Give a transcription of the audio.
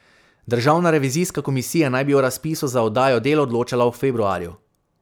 Državna revizijska komisija naj bi o razpisu za oddajo del odločala v februarju.